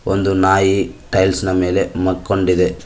ಒಂದು ನಾಯಿ ಟೈಲ್ಸ್ನ ಮೇಲೆ ಮಕ್ಕೊಂಡಿದೆ.